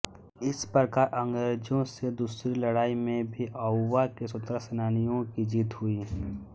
इस प्रकार अंग्रेजों से दूसरी लड़ाई में भी आउवा के स्वतंत्रता सेनानियों की जीत हुई